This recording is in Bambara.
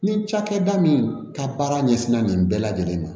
Ni cakɛda min ka baara ɲɛsinna nin bɛɛ lajɛlen